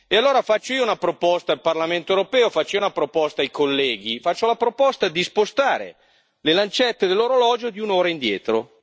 Allora faccio io una proposta al Parlamento europeo, faccio io una proposta ai colleghi, faccio la proposta di spostare le lancette dell'orologio di un'ora indietro.